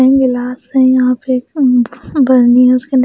गिलास है यहां पे बर्नी है उसके--